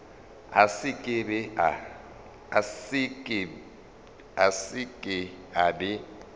a se ke a be